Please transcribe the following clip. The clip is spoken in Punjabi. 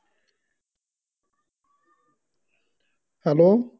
hello